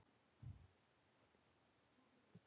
Nei, ekki til okkar